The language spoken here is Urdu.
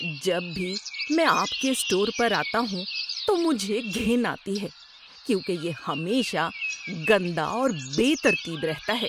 جب بھی میں آپ کے اسٹور پر آتا ہوں تو مجھے گھن آتی ہے کیونکہ یہ ہمیشہ گندا اور بے ترتیب رہتا ہے۔